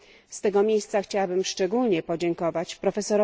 Z tego miejsca chciałabym szczególnie podziękować prof.